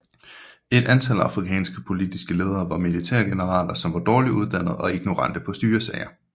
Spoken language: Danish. Et antal afrikanske politiske ledere var militære generaler som var dårlig uddannet og ignorante på styresager